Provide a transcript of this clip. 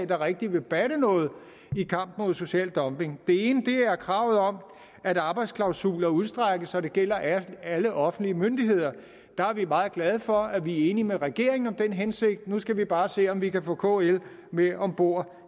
der rigtig vil batte noget i kampen mod social dumping det ene er kravet om at arbejdsklausuler udstrækkes så de gælder alle offentlige myndigheder vi er meget glade for at vi er enige med regeringen i den hensigt nu skal vi bare se om vi kan få kl med om bord